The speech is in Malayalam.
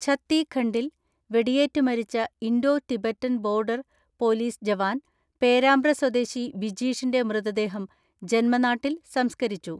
ഛത്തീഖണ്ഡിൽ വെടിയേറ്റ് മരിച്ച Indo Tibetan border police jawan Perambra സ്വദേശി ബിജീഷിന്റെ മൃതദേഹം ജൻമനാട്ടിൽ സംസ്കരിച്ചു.